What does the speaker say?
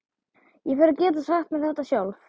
Ég fer að geta sagt mér þetta sjálf.